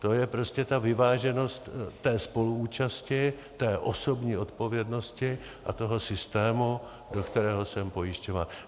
To je prostě ta vyváženost té spoluúčasti, té osobní odpovědnosti a toho systému, do kterého jsem pojišťován.